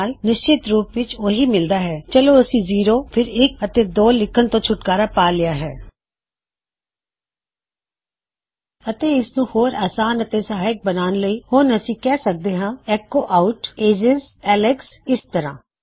ਅਤੇ ਇਹ ਇਸਨੂੰ ਹੋਰ ਸਹਾਇਕ ਬਣਾਉਣਦਾ ਹੈ ਅਤੇ ਯਾਦ ਰਖਣ ਲਈ ਥੋੜ੍ਹਾ ਅਸਾਨ ਪੁਕਾਰਣ ਲਈ ਥੋੜ੍ਹਾ ਅਸਾਨ ਹੁਣ ਅਸੀਂ ਕਿਹ ਸਕਦੇ ਹਾਂ ਕੀ ਐੱਕੋ ਆਉਟ ਏਜਿਜ ਐਲੇਕਸ ਇਸ ਤਰ੍ਹਾ